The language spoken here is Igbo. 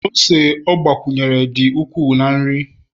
ose ọ gbakwunyere dị ukwuu na nri